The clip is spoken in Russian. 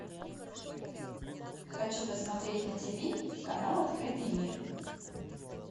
хочу посмотреть на тиви канал открытый мир